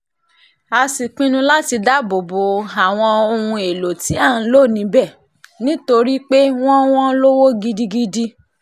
a sì pinnu láti dáàbò bo àwọn ohun èèlò tí à ń lò níbẹ̀ nítorí pé wọ́n wọn lówó gidigidi